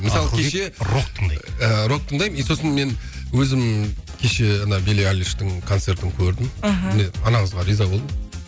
мысалы кеше рок тыңдаймын и сосын мен өзім кеше ана билли айлиштің концертін көрдім мхм міне ана қызға риза болдым